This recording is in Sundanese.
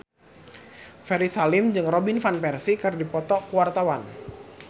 Ferry Salim jeung Robin Van Persie keur dipoto ku wartawan